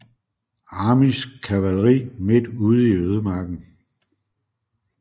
Armys kavalri midt ude i ødemarken